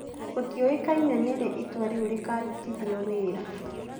Gũtiũĩkaine nĩ rĩ itua rĩu rĩkarutithio wĩra.